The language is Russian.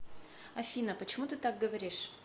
афина почему ты так говоришь